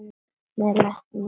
Með lærin í skónum.